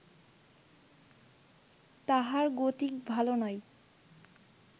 তাহার গতিক ভালো নয়